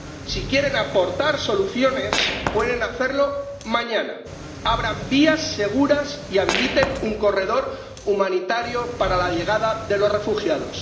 Si quieren aportar soluciones, pueden hacerlo mañana abran vías seguras y habiliten un corredor humanitario para la llegada de los refugiados